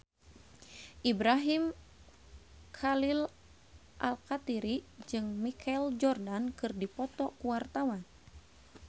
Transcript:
Ibrahim Khalil Alkatiri jeung Michael Jordan keur dipoto ku wartawan